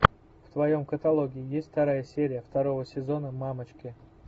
в твоем каталоге есть вторая серия второго сезона мамочки